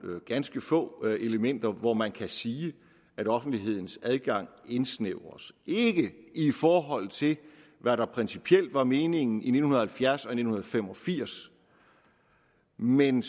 ganske få elementer hvor man kan sige at offentlighedens adgang indsnævres ikke i forhold til hvad der principielt var meningen i nitten halvfjerds og i nitten fem og firs men